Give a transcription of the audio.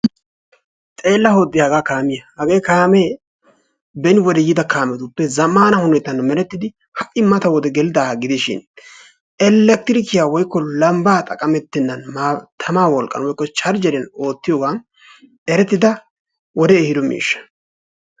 xeella hode hagga kaamiya! hagee kaame beni yiida kaametuppe zammana hanotan merettidi ha'i mati gelidaaga gidishin Elekrikiyaa woykko lambba xaqqametenna tammaa wolqqan woykko charjeriya go'etiyooga erettida wode ehido miishsha.